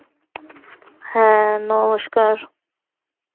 হ্যাঁ নমস্কার